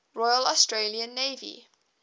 royal australian navy